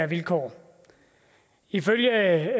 vilkår ifølge